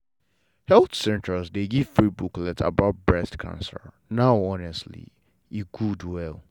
health center dey give free booklet about breast cancer now honestly e good well.